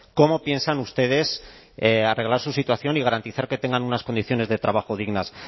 cómo piensan ustedes arreglar su situación y garantizar que tengan unas condiciones de trabajo dignas